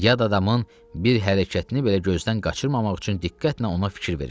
Yad adamın bir hərəkətini belə gözdən qaçırmamaq üçün diqqətlə ona fikir verirdi.